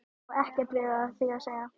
Og ekkert við því að segja.